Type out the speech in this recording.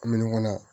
Min kɔnɔ